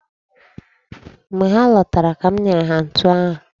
Mgbe ha lọtara ka m nyere ha ntụ ahụ.